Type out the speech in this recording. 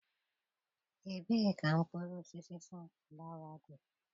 Ebee ka mkpụrụ osisi sunflawa dị?